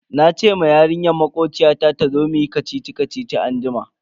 Nace ma yarinyar makociyata tazo muyi kacici-kacici anjima.